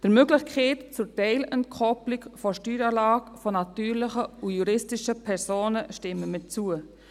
Der Möglichkeit zur Teilentkoppelung der Steueranlage natürlicher und juristischer Personen stimmen wir zu.